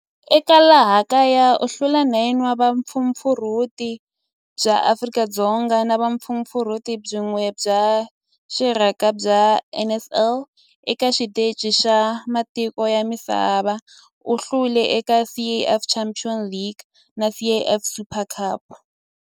Eka laha kaya u hlule 9 wa vumpfampfarhuti bya Afrika-Dzonga na vumpfampfarhuti byin'we bya rixaka bya NSL. Eka xiteji xa matiko ya misava, u hlule eka CAF Champions League na CAF Super Cup.